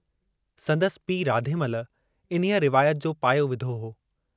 संदसि पीउ राधेमल, इन्हीअ रिवायत जो पायो विधो हो।